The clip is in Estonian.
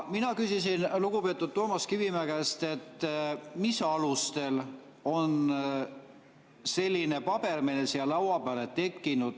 Mina küsisin lugupeetud Toomas Kivimäe käest, mis alustel on selline paber meile laua peale tekkinud.